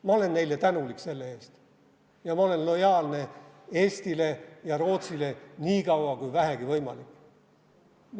Ma olen neile tänulik selle eest ja ma olen lojaalne Eestile ja Rootsile nii kaua kui vähegi võimalik.